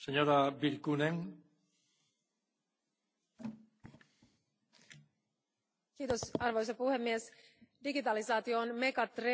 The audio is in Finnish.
Arvoisa puhemies, digitalisaatio on megatrendi, joka muuttaa maailmaa nyt hyvin nopeasti, ja on tärkeää, että Eurooppa on tässä kehityksessä vahvasti mukana.